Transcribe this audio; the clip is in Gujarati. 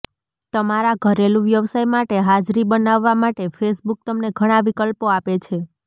તમારા ઘરેલુ વ્યવસાય માટે હાજરી બનાવવા માટે ફેસબુક તમને ઘણા વિકલ્પો આપે છે